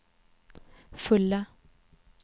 fulla